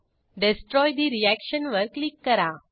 destroy ठे reaction वर click करा